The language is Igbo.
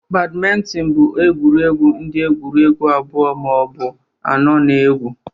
Badminton bụ egwuregwu ndị egwuregwu abụọ ma ọ bụ anọ na-egwu